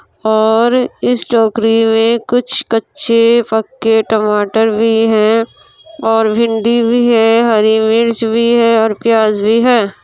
और इस टोकरी में कुछ कच्चे पक्के टमाटर भी है और भिंडी भी है हरी मिर्च भी है और प्याज भी है।